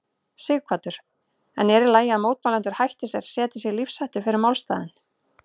Sighvatur: En er í lagi að mótmælendur hætti sér, setji sig í lífshættu fyrir málstaðinn?